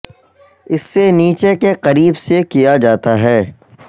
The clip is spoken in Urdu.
اس سے نیچے کے قریب سے کیا جاتا ہے